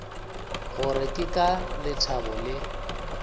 gore ke ka lethabo le